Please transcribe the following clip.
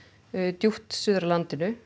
djúpt suður af landinu